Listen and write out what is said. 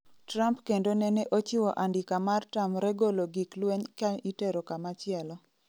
Trump kendo nene ochiwo andika mar tamre golo gik lweny ka itero kama chielo